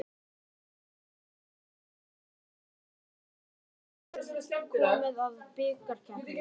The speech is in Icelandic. Haukar unnu deildarleikinn og nú er komið að bikarkeppninni.